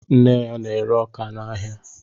Nne ya na-ere ọkà n'áhiá